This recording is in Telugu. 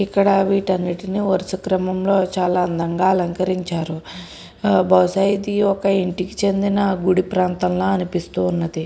ఇక్కడ వీటి అంటిని వరుస క్రమంలో చాలా బాగా అలకరించారు. బహుశా ఇది ఇంటికి చెందిన గుడి ప్రాంతం లాగా అనిపిస్తుంది.